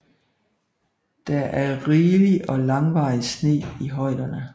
Der er rigelig og langvarig sne i højderne